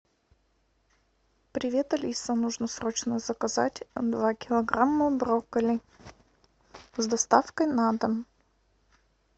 привет алиса нужно срочно заказать два килограмма брокколи с доставкой на дом